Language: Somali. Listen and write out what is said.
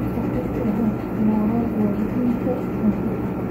Waxay uexed moral walidhinda dambe.